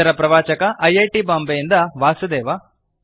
ಇದರ ಪ್ರವಾಚಕ I I T Bombay ಯಿಂದ ವಾಸುದೇವ